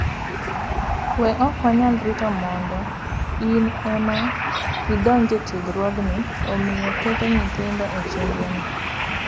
WeOk wanyal rito mondo in ema idonj e tiegruogni, omiyo keto nyithindo e chenroni